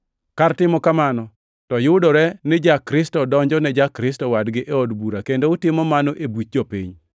Kar timo kamano, to yudore ni ja-Kristo donjo ne ja-Kristo wadgi e od bura kendo utimo mano e buch jopiny!